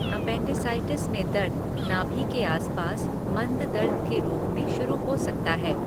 Appendicitis में दर्द, नाभि के आस पास मंद दर्द के रूप में शुरू हो सकता है।